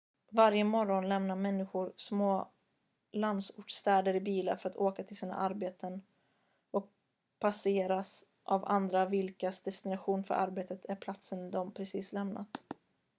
varje morgon lämnar människor små landsortsstäder i bilar för att åka till sina arbeten och passeras av andra vilkas destination för arbetet är platsen de precis lämnat